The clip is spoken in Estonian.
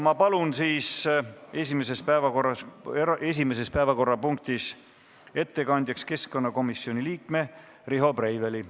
Ma palun esimeses päevakorrapunktis ettekandjaks keskkonnakomisjoni liikme Riho Breiveli.